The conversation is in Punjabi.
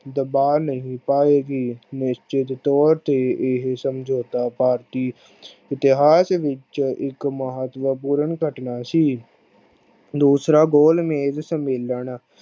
ਦਬਾ ਨਹੀਂ ਪਾਏ ਗੀ। ਨਿਸਚਿਤ ਤੋਰ ਤੇ ਇਹ ਸਮਜੋਤਾ ਬਾਕੀ ਇਤਿਹਾਸ ਵਿਚ ਇਕ ਮਹੱਤਵਪੂਰਨ ਘਟਨਾ ਸੀ। ਦੂਸਰਾ ਗੋਲ ਮੇਜ ਸੰਮੇਲਨ